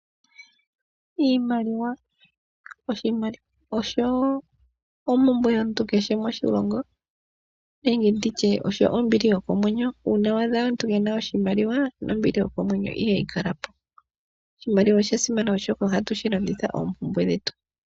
Iimaliwa oyo ompumbwe yomuntu kehe moshilongo nenge nditye osho ombili yokomwenyo. Uuna wa adha omuntu ke ena oshimaliwa nombili yokomwenyo ihayi kala po. Oshimaliwa osha simana, oshoka ohatu shi landitha oompumbwe dhetu.